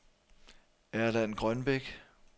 Erland Grønbech